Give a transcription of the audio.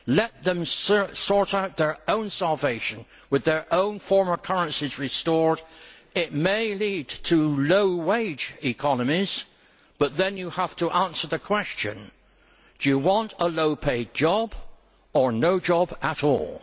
Let them sort out their own salvation with their own former currencies restored. It may lead to low wage economies but then you have to answer the question do you want a low paid job or no job at all?